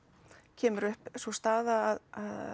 kemur upp sú staða að